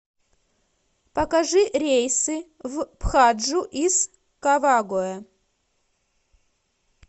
покажи рейсы в пхаджу из кавагоэ